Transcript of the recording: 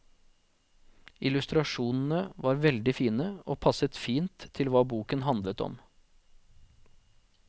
Illustrasjonene var veldig fine og passet fint til hva boken handlet om.